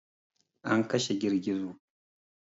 An kashe girgizo.